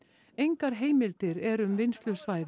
engar heimildir eru um vinnslusvæði